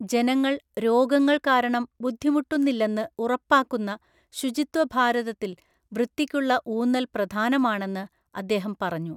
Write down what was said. ജനങ്ങള്‍ രോഗങ്ങള്‍ കാരണം ബുദ്ധിമുട്ടുന്നില്ലെന്ന് ഉറപ്പാക്കുന്ന ശുചിത്വ ഭാരതത്തില്‍വൃത്തിക്കുള്ള ഊന്നല്‍ പ്രധാനമാണെന്ന്അദ്ദേഹം പറഞ്ഞു.